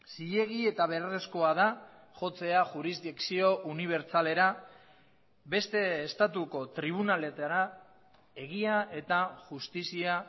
zilegi eta beharrezkoa da jotzea jurisdikzio unibertsalera beste estatuko tribunaletara egia eta justizia